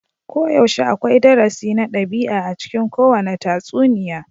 Koyaushe akwai darasi na ɗabi'a a cikin kowane tatsuniya.